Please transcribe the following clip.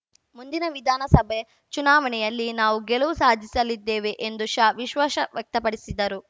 ಮುಂದಿನ ವಿಧಾನಸಭೆ ಚುನಾವಣೆಯಲ್ಲಿ ನಾವು ಗೆಲುವು ಸಾಧಿಸಲಿದ್ದೇವೆ ಎಂದು ಶಾ ವಿಶ್ವಾಶ ವ್ಯಕ್ತಪಡಿಸಿದರು